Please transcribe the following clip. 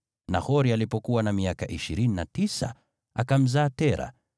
Nahori alipokuwa na miaka ishirini na tisa, akamzaa Tera.